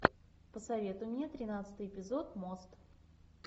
посоветуй мне тринадцатый эпизод мост